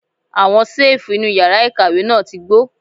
Àwọn ṣẹ́ẹ̀fù inú yàrá ìkàwé náà ti gbó.